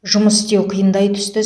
жұмыс істеу қиындай түсті